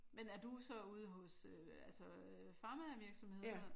Men er du så ude hos øh altså pharma-virksomheder?